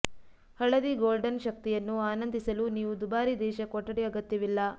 ಹಳದಿ ಗೋಲ್ಡನ್ ಶಕ್ತಿಯನ್ನು ಆನಂದಿಸಲು ನೀವು ದುಬಾರಿ ದೇಶ ಕೊಠಡಿ ಅಗತ್ಯವಿಲ್ಲ